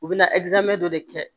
U bɛna dɔ de kɛ